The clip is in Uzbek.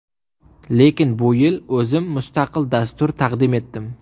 Lekin bu yil o‘zim mustaqil dastur taqdim etdim.